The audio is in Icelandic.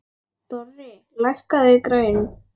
Dorri, lækkaðu í græjunum.